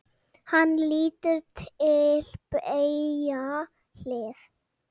Hann lítur til beggja hliða.